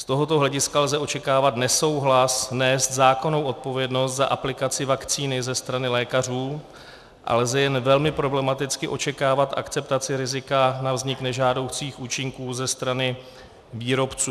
Z tohoto hlediska lze očekávat nesouhlas nést zákonnou odpovědnost za aplikaci vakcíny ze strany lékařů a lze jen velmi problematicky očekávat akceptaci rizika na vznik nežádoucích účinků ze strany výrobců.